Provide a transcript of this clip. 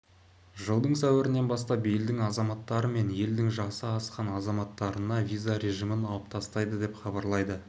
жылдың сәуірінен бастап елдің азаматтары мен елдің жасы асқан азаматтарына виза режимін алып тастайды деп хабарлайды